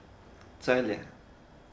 Celje.